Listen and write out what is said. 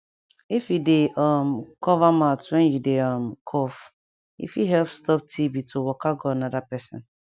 if you dey um cover mouth when you dey um cough e fit help stop tb to waka go another person